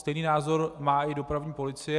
Stejný názor má i dopravní policie.